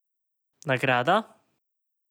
Nagrada?